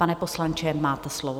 Pana poslanče, máte slovo.